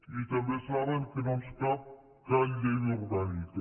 i també saben que no ens cal cap llei orgànica